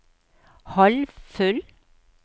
halvfull